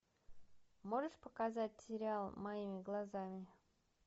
можешь показать сериал моими глазами